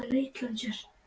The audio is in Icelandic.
Jóhann: Og prufaðirðu þar?